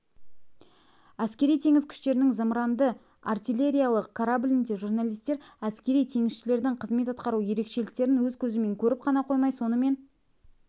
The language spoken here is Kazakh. әскери-теңіз күштерінің зымыранды-артиллериялық кораблінде журналистер әскери теңізшілердің қызмет атқару ерекшіліктерін өз көзімен көріп қана қоймай сонымен